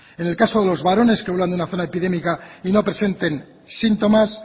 en el caso de los varones que vuelvan de una zona epidémica y no presenten síntomas